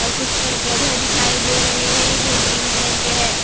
और कुछ पेड़-पौधे दिखाई दे रहे हैं जो ग्रीन कलर के है।